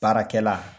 Baarakɛla